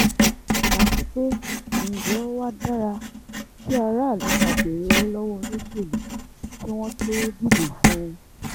àti pé ǹjẹ́ ó wáá dára kí aráàlú máa béèrè owó lọ́wọ́ olóṣèlú kí wọ́n tóó dìbò fún un